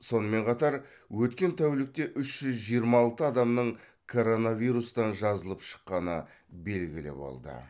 сонымен қатар өткен тәулікте үш жүз жиырма алты адамның коронавирустан жазылып шыққаны белгілі болды